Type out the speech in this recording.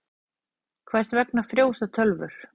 Hvers vegna frjósa tölvur?